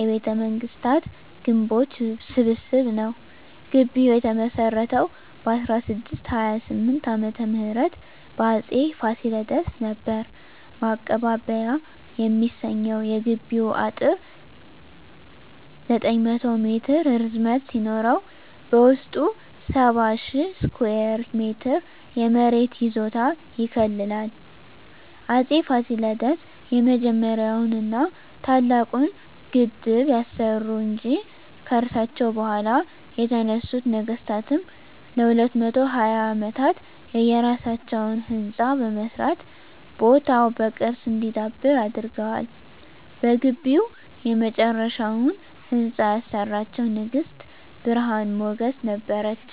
የቤተመንግስታት ግምቦች ስብስብ ነዉ። ግቢዉ የተመሰረተዉ በ1628 ዓ.ም በአፄ ፋሲለደስ ነበር። ማቀባበያ የሚሰኘዉ የግቢዉ አጥር 900 ሜትር ርዝመት ሲኖረዉ በዉስጡ 70,000 ስኩየር ሜትር የመሬት ይዞታ ይከልላል። አፄ ፋሲለደስ የመጀመሪያዉን ና ታላቁን ግድብ ያሰሩ እንጂ፣ ከርሳቸዉ በኋላ የተነሱት ነገስታትም ለ220 አመታት የየራሳቸዉን ህንፃ በመስራት ቦታዉ በቅርስ እንዲዳብር አድርገዋል። በግቢዉ የመጨረሻዉን ህንፃ ያሰራችዉ ንግስት ብርሀን ሞገስ ነበረች።